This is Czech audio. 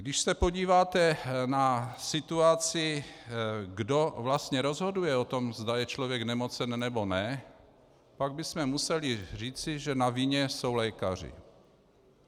Když se podíváte na situaci, kdo vlastně rozhoduje o tom, zda je člověk nemocen, nebo ne, pak bychom museli říci, že na vině jsou lékaři.